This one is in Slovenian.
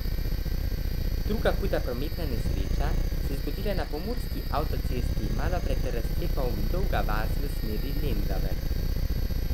Druga huda prometna nesreča se je zgodila na pomurski avtocesti malo pred razcepom Dolga vas v smeri Lendave.